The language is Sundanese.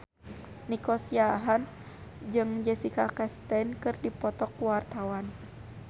Nico Siahaan jeung Jessica Chastain keur dipoto ku wartawan